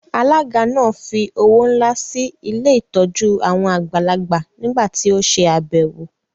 Alága náà fí owó ńlá sí ilé ìtọ́jú àwọn àgbàlagbà nígbà tí ó se àbẹ̀wò